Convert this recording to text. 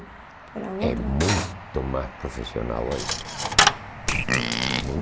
era outra... É muito mais profissional ainda.